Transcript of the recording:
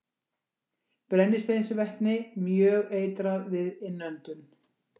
Brennisteinsvetni- Mjög eitrað við innöndun.